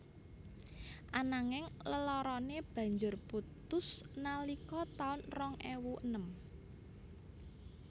Ananging leloroné banjur putus nalika taun rong ewu enem